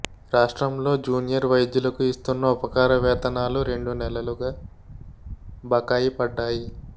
రాష్ట్రంలో జూనియర్ వైద్యులకు ఇస్తున్న ఉపకార వేతనాలు రెండు నెలలుగా బకాయి పడ్డాయి